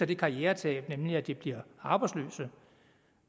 det karrieretab at de bliver arbejdsløse